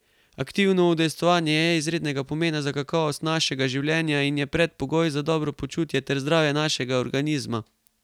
Aktivno udejstvovanje je izrednega pomena za kakovost našega življenja in je predpogoj za dobro počutje ter zdravje našega organizma.